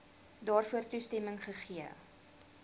daarvoor toestemming gegee